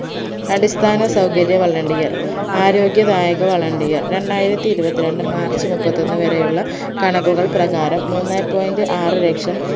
അടിസ്ഥാന സൗകര്യ volunteer ആരോഗ്യദായക volunteer രണ്ടായിരത്തി ഇരുപത്തിരണ്ട് മാർച്ച് മുപ്പത്തൊന്ന് വരെയുള്ള കണക്കുകൾ പ്രകാരം മൂന്നേ point ആറുലക്ഷം